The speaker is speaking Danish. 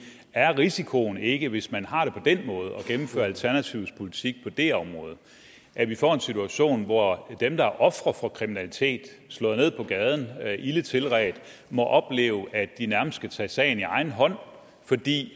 er risikoen ikke hvis man har det på den måde og gennemfører alternativets politik på det område at vi får en situation hvor dem der er ofre for kriminalitet er slået ned på gaden og ilde tilredt må opleve at de nærmest skal tage sagen i egen hånd fordi